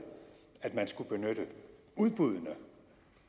at man skulle benytte udbuddene